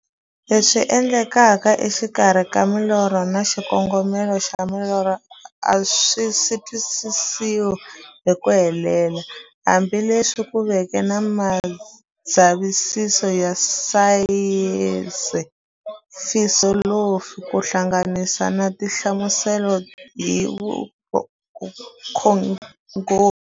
Leswi endlekaka exikarhi ka milorho na xikongomelo xa milorho a swisi twisisiwa hi ku helela, hambi leswi ku veke na mindzavisiso ya sayensi, filosofi ku hlanganisa na tinhlamuselo hi vukhongori.